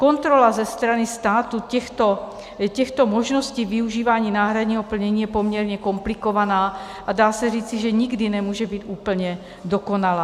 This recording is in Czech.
Kontrola ze strany státu těchto možností využívání náhradního plnění je poměrně komplikovaná a dá se říci, že nikdy nemůže být úplně dokonalá.